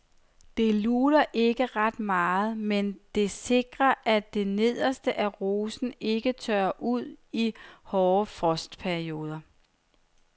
Det luner ikke ret meget, men det sikrer at det nederste af rosen ikke tørrer ud i hårde frostperioder.